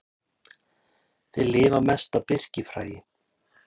Þeir lifa mest á birkifræi.